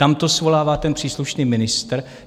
Tam to svolává ten příslušný ministr.